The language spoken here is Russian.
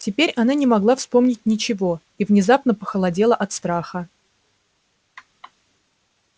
теперь она не могла вспомнить ничего и внезапно похолодела от страха